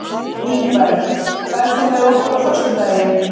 Ingberg, ferð þú með okkur á föstudaginn?